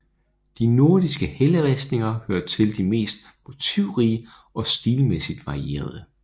De nordiske helleristninger hører til de mest motivrige og stilmæssigt varierede